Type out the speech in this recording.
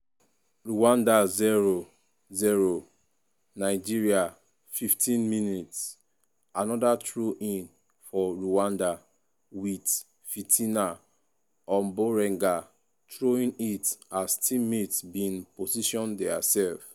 rwanda 0-0 nigeria 50mins- anoda throw-in for rwanda wit fitina omborenga throwing it as teammates bin possession dia sef.